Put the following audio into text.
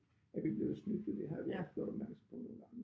Er vi blevet snydt jo det har vi også gjort opmærksom på nogle gange